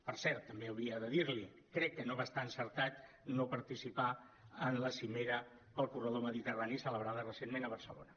per cert també hauria de dir l’hi crec que no va estar encertat no participar en la cimera pel corredor mediterrani celebrada recentment a barcelona